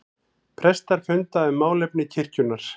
Prestar funda um málefni kirkjunnar